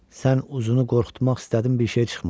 Sən uzunu qorxutmaq istədin, bir şey çıxmadı.